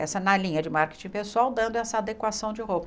essa na linha de marketing pessoal, dando essa adequação de roupa.